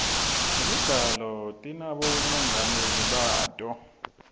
temidlalo tinabomongameli bato